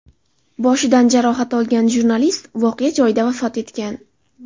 Boshidan jarohat olgan jurnalist voqea joyida vafot etgan .